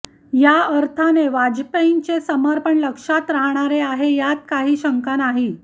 या अर्थाने वाजपेयींचे समर्पण लक्षात राहणारे आहे यात काही शंका नाही